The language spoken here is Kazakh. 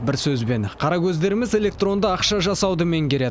бір сөзбен қаракөздеріміз электронды ақша жасауды меңгереді